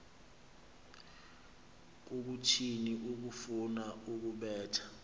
kukuthini ukufuna ukubetha